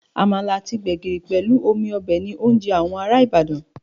Àmàlà àti gbẹ̀gìrì pẹ̀lú omi ọbẹ̀ ni oúnjẹ àwọn ará Ibadan